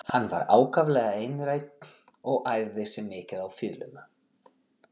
Hann var ákaflega einrænn og æfði sig mikið á fiðluna.